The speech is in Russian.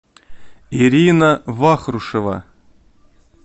ирина вахрушева